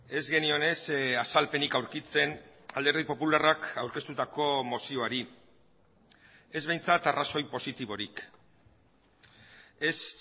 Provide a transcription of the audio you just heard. ez genion ez azalpenik aurkitzen alderdi popularrak aurkeztutako mozioari ez behintzat arrazoi positiborik ez